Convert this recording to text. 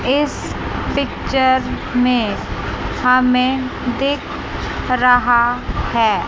इस पिक्चर में हमें दिख रहा है।